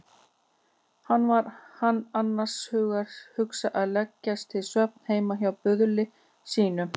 Hvað var hann annars að hugsa að leggjast til svefns heima hjá böðli sínum?